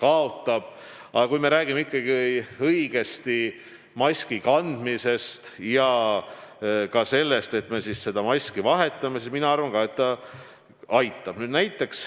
Aga kui me räägime ikkagi sellest, et me kanname maski õigesti ja me seda ka vahetame, siis mina arvan ka, et ta aitab.